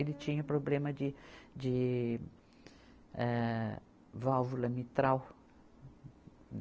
Ele tinha problema de, de, âh válvula mitral.